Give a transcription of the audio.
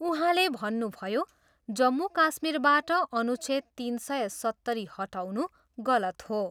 उहाँले भन्नुभयो, जम्मू काश्मीरबाट अनुच्छेद तिन सय सत्तरी हटाउनु गलत हो।